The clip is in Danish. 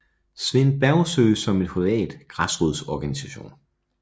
Svend Bergsøe som en privat græsrodsorganisation